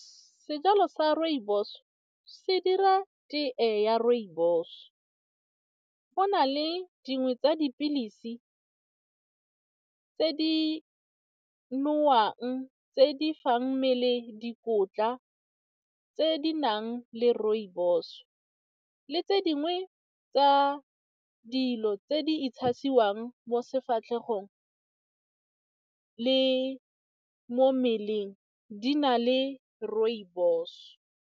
Sejalo sa rooibos se dira tee ya rooibos, go na le dingwe tsa dipilisi tse di nowang tse di fang mmele dikotla tse di nang le rooibos, le tse dingwe tsa dilo tse di mo sefatlhegong le mo mmeleng di na le rooibos.